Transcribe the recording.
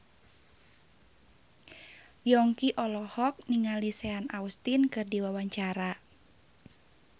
Yongki olohok ningali Sean Astin keur diwawancara